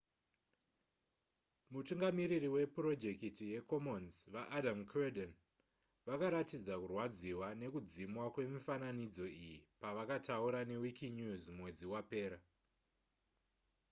mutungamiriri wepurojekiti yecommons vaadam cuerden vakaratidza kurwadziwa nekudzimwa kwemifananidzo iyi pavakataura newikinews mwedzi wapera